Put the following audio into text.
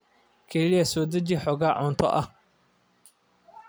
Kaliya soo deji xoogaa cunto ah.